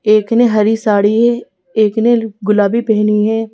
एक ने हरी साड़ी है एक ने गुलाबी पहनी है।